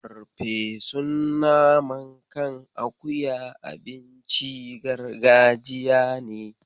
Farfesun naman kan akuya abinci gargajiya ne.